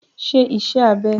Ṣé ìṣe abẹ́!